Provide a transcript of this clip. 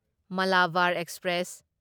Malabar express